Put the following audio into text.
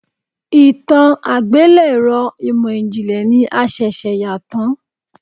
Ìtàn àgbélẹ̀rọ ìmò ìjìnlẹ̀ ni a ṣẹ̀ṣẹ̀ yà tán.